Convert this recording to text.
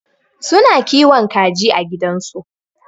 Su na kiwon kaji a gidan su.